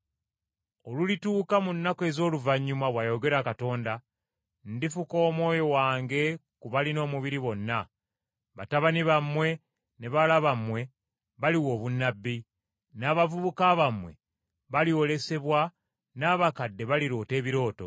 “ ‘Olulituuka mu nnaku ez’oluvannyuma, bw’ayogera Katonda, ndifuka Omwoyo wange ku balina omubiri bonna. Batabani bammwe ne bawala bammwe baliwa obunnabbi; n’abavubuka bammwe balyolesebwa, n’abakadde baliroota ebirooto.